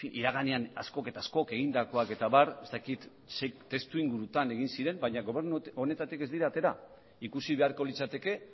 iraganean askok eta askok egindakoak eta abar ez dakit ze testuingurutan egin ziren baina gobernu honetatik ez dira atera ikusi beharko litzateke